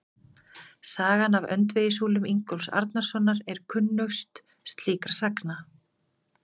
Sagan af öndvegissúlum Ingólfs Arnarsonar er kunnust slíkra sagna.